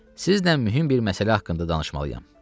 Sizinlə mühüm bir məsələ haqqında danışmalıyam."